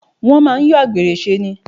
Wọ́n máà ń yọ àgbèrè ṣe ni.